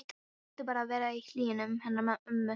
Hún vildi bara vera í hlýjunni hennar ömmu.